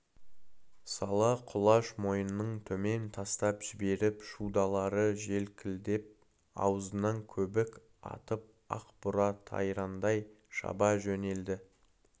сала құлаш мойнын төмен тастап жіберіп шудалары желкілдеп аузынан көбік атып ақ бура тайраңдай шаба жөнелді